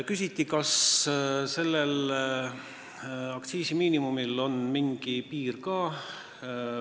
Küsiti, kas aktsiisimiinimumil on mingi piir ka.